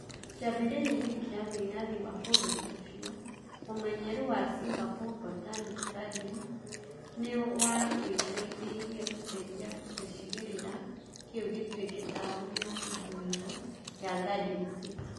Kĩambĩrĩria-inĩ kĩa wĩyathi wa bũrũri ũcio, ũmenyeru wa Singapore Botanic Gardens nĩ wateithirie gũcenjia gĩcigĩrĩra kĩu gĩtuĩke taũni ya ithũĩro ya Garden city.